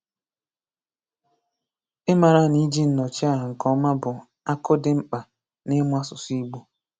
Ịmara na iji Nnọchiaha nke ọma bụ akụ dị mkpa n’ịmụ asụsụ Igbo.